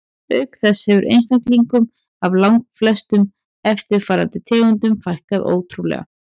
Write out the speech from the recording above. Auk þess hefur einstaklingum af langflestum eftirlifandi tegundum fækkað ótrúlega.